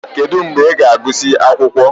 Kedu mgbe ị ga-agụsị akwụkwọ?